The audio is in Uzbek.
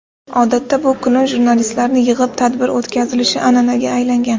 Odatda, bu kuni jurnalistlarni yig‘ib tadbir o‘tkazilishi an’anaga aylangan.